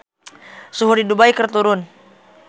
Suhu di Dubai keur turun